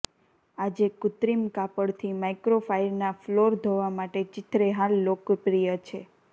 આજે કૃત્રિમ કાપડથી માઇક્રોફાઇરના ફ્લોર ધોવા માટે ચીંથરેહાલ લોકપ્રિય છે